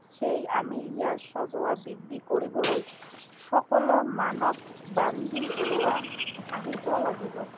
সেয়ে আমি ইয়াৰ সজোৱা বৃদ্ধি কৰিবলৈ সকলো মানৱ বান্ধি ওলোৱা আহিব লাগিব।